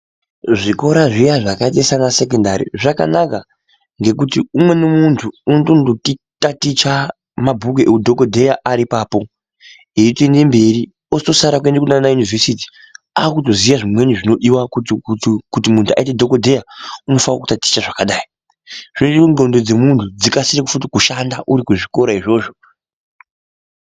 Zvikora zviya zvakaita sana sekondari zvakanaka ngekuti umweni munhu unotondo taticha mabhuku eudhokodheya ariipapo eitoende mberi otosara kuenda ku yunivhesiti akutoziya zvimweni zvinodiwa kuti munhu kutii aite dhokodheya unofanire kutaticha zvakadai zvinoite kuti ndhlondo dzemunhu dzikasire futi kushanda urikuzvikora izvozvo.